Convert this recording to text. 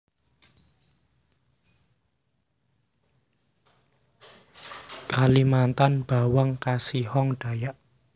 Kalimantan bawang kasihong Dayak